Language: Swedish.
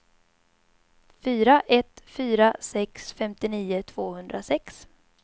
fyra ett fyra sex femtionio tvåhundrasex